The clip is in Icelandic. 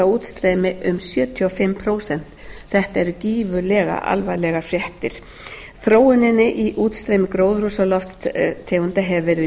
útstreymi um sjötíu og fimm prósent þetta eru gífurlega alvarlegar fréttir þróuninni í útstreymi gróðurhúsalofttegunda hefur verið